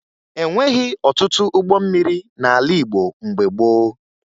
E nweghi ọtụtụ ụgbọ mmiri n'ala Igbo mgbe gboo